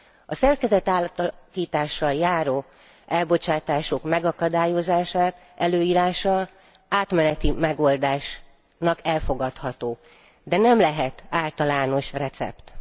A szerkezetátalakítással járó elbocsátások megakadályozásának előírása átmeneti megoldásnak elfogadható, de nem lehet általános recept.